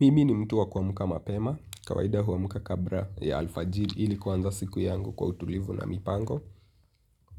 Mimi ni mtu wa kwamka mapema, kawaida huamka kabra ya alfajili ili kuanza siku yangu kwa utulivu na mipango.